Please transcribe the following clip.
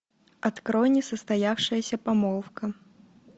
открой несостоявшаяся помолвка